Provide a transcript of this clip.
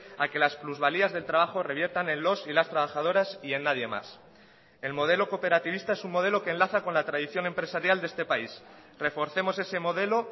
a que las plusvalías del trabajo reviertan en los y las trabajadoras y en nadie más el modelo cooperativista es un modelo que enlaza con la tradición empresarial de este país reforcemos ese modelo